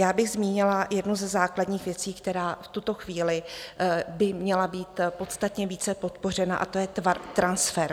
Já bych zmínila jednu ze základních věcí, která v tuto chvíli by měla být podstatně více podpořena, a to je transfer.